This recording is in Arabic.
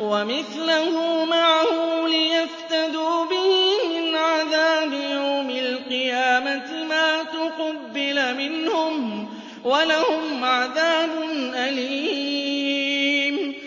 وَمِثْلَهُ مَعَهُ لِيَفْتَدُوا بِهِ مِنْ عَذَابِ يَوْمِ الْقِيَامَةِ مَا تُقُبِّلَ مِنْهُمْ ۖ وَلَهُمْ عَذَابٌ أَلِيمٌ